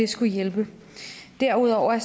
skulle hjælpe derudover